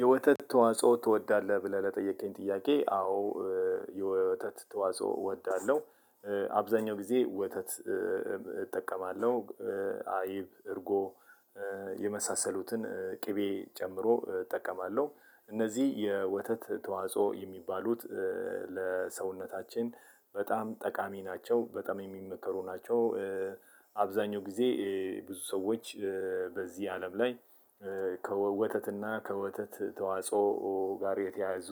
የወተት ተዋጽኦ ትወዳለህ ብለህ ለጠየከኝ ጥያቄ? አዎ። የወተት ተዋጽኦ እወዳለሁ አብዛኛው ጊዜ ወተት እጠቀማለሁ። አይብ እርጎ። የመሳሰሉትን ቅቤ ጨምሮ እጠቀማለሁ። እነዚህ የወተት ተዋጽኦ የሚባሉት ለሰውነታችን በጣም ጠቃሚ ናቸው በጣም የሚመከሩ ናቸው። አብዛሀኛው ጊዜ ብዙ ሰዎች በዚህ አለም ላይ ከወተትና ከወተት ተዋጽኦ ጋር የተያያዙ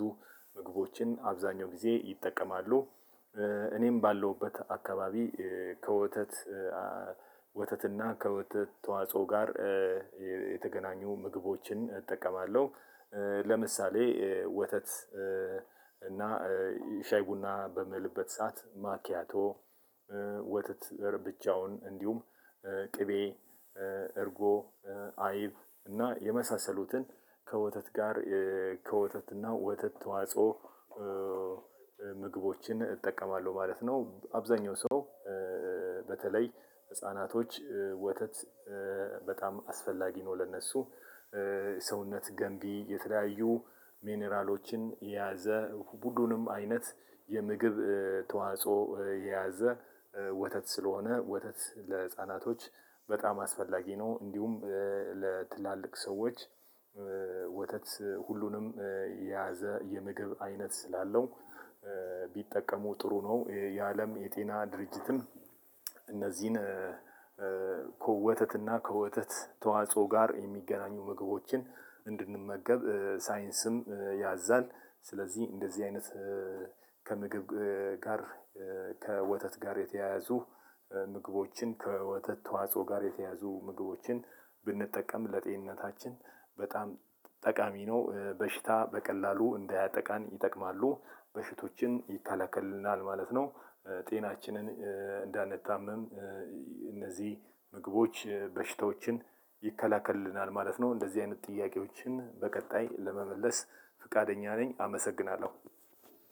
ምግቦችን አብዛኛው ጊዜ ይጠቀማሉ። እኔም ባለሁበት አካባቢ ከወተት ወተትና ከወተት ተዋጽኦ ጋር የተገናኙ ምግቦችን እጠቀማለሁ። ለምሳሌ ወተት እና ሻይ ቡና በምልበት ሰዓት ማኪያቶ። ወተት ብቻውን እንዲሁም ቅቤ እርጎ አይብ እና የመሳሰሉትን ከወተት ጋር ከወተት እና ወተት ተዋጽኦ። ምግቦችን እጠቀማለሁ ማለት ነው። አብዛሀኛው ሰው በተለይ ህፃናቶች ወተት በጣም አስፈላጊ ነው። ለእነሱ ሰውነት ገንቢ የተለያዩ ሚነራሎችን የያዘ ሁሉንም አይነት የምግብ ተዋጽኦ የያዘ ወተት ስለሆነ ወተት ለህፃናቶች በጣም አስፈላጊ ነው። እንዲሁም ለትላልቅ ሰዎች ወተት ሁሉንም የያዘ የምግብ አይነት ስላለው ቢጠቀሙ ጥሩ ነው። የአለም የጤና ድርጅትን እነዚህን ከወተትና ከወተት ተዋጽኦ ጋር የሚገናኙ ምግቦችን እንድንመገብ ሳይንስም ያዛል። ስለዚህ እንደዚህ አይነት ከምግብ ጋር ከወተት ጋር የተያያዙ ምግቦችን ከወተት ተዋጽኦ ጋር የተያዙ ምግቦችን ብንጠቀም ለጤንነታችን በጣም ጠቃሚ ነው። በሽታ በቀላሉ እንዳያጠቃን ይጠቅማሉ በሽቶችን ይከላከልልናል ማለት ነው። ጤናችንን እንዳንታመም እነዚህ ምግቦች በሽታዎችን ይከላከልልናል ማለት ነው። እንደዚህ አይነት ጥያቄዎችን በቀጣይ ለመመለስ ፈቃደኛ ነኝ። አመሰግናለሁ።